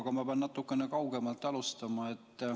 Aga ma pean natukene kaugemalt alustama.